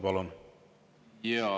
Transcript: Palun!